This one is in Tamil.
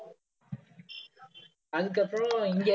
அதுக்கப்புறம் இங்க